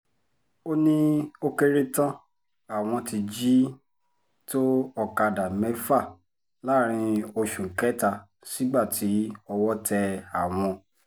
ó ní ó kéré tán àwọn ti jí tó ọ̀kadà mẹ́fà láàrin oṣù kẹta sígbà tí owó tẹ àwọn